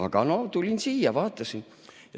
Aga tulin siia, vaatasin.